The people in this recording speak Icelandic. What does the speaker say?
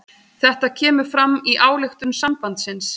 Þetta kemur fram í ályktun sambandsins